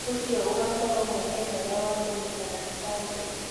ũcio ũgakorwo mweke mwega wa kũnyitana na bamĩrĩ.